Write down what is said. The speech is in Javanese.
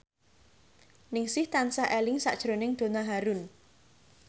Ningsih tansah eling sakjroning Donna Harun